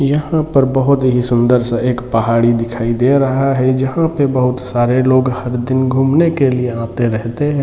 यहाँ पर बहुत ही सुन्दर -सा एक पहाड़ी दिखाई दे रहा है जहाँ पर बहुत सारे लोग हर दिन घूमने के लिए आते रहते हैं।